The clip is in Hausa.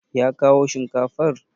Ya kawo shinkafar?